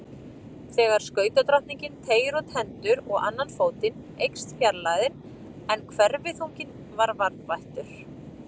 Þegar skautadrottningin teygir út hendur og annan fótinn eykst fjarlægðin en hverfiþunginn er varðveittur.